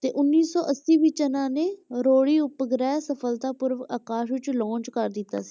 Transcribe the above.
ਤੇ ਉੱਨੀ ਸੌ ਅੱਸੀ ਵਿੱਚ ਇਹਨਾਂ ਨੇ ਰੋਹਿਣੀ ਉਪਗ੍ਰਹਿ ਸਫਲਤਾਪੂਰਵਕ ਆਕਾਸ਼ ਵਿੱਚ launch ਕਰ ਦਿੱਤਾ ਸੀ।